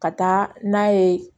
Ka taa n'a ye